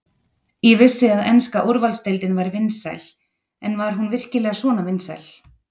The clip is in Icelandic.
Ég vissi að enska úrvalsdeildin væri vinsæl en var hún virkilega svona vinsæl?